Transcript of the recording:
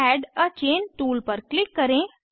add a chain tool पर click करें